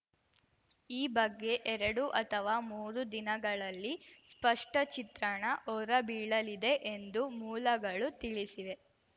ಈ ಬಗ್ಗೆ ಎರಡು ಅಥವಾ ಮೂರು ದಿನಗಳಲ್ಲಿ ಸ್ಪಷ್ಟಚಿತ್ರಣ ಹೊರಬೀಳಲಿದೆ ಎಂದು ಮೂಲಗಳು ತಿಳಿಸಿವೆ